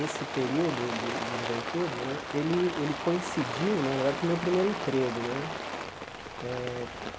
Esse período de de juventude né ele ele coincidiu, na verdade, com o meu primeiro emprego né. Eh